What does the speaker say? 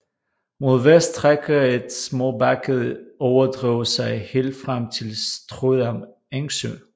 Mod vest strækker et småbakket overdrev sig helt frem til Strødam Engsø